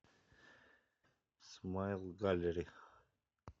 смайл галери